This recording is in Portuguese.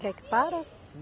Quer que para?